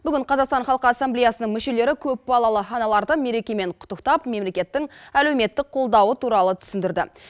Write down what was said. бүгін қазақстан халқы ассамблеясының мүшелері көпбалалы аналарды мерекемен құттықтап мемлекеттің әлеуметтік қолдауы туралы түсіндірді